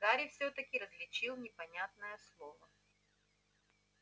гарри всё-таки различил непонятное слово